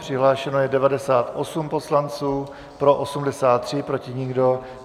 Přihlášeno je 98 poslanců, pro 83, proti nikdo.